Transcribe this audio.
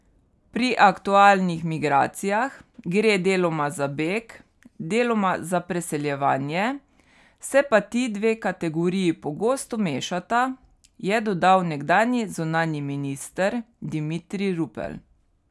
Pri aktualnih migracijah gre deloma za beg, deloma za preseljevanje, se pa ti dve kategoriji pogosto mešata, je dodal nekdanji zunanji minister Dimitrij Rupel.